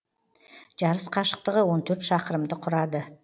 жарыс қашықтығы он төрт шақырымды құрады